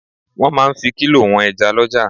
Wọ́n máa ń fi kílò wọn ẹja lọ́jà.